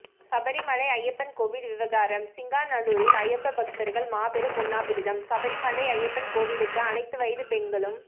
சபரிமலை ஐயப்பன் கோவில் விவகாரம் சிங்காநல்லூரில் ஐயப்ப பக்தர்கள் மாபெரும் உண்ணாவிரதம் சபரிமலை ஐயப்பன் கோவிலுக்கு அனைத்து வயதுப் பெண்களும்